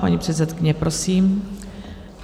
Paní předsedkyně, prosím.